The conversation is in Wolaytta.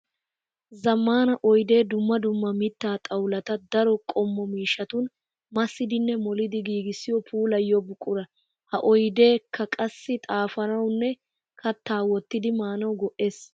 Zamaana oydde dumma dumma mitta xawulatta daro qommo miishshatun massiddinne moliddi giigissiyo puulayiyo buqura. Ha oyddekka qassi xaafanawunne katta wotiddi maanawu go'ees.